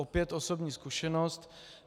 Opět osobní zkušenost.